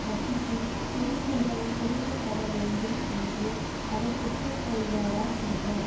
வசிக்கும் உரிமைகள் கொடுக்க பட வேண்டும் என்று அவர் ஒப்புக்கொள்வாரா என்றார்